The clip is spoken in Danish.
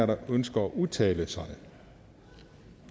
der ønsker at udtale sig